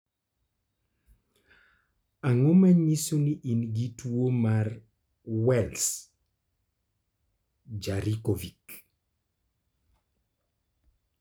Ang'o ma nyiso ni in gi tuo mar Wells Jankovic?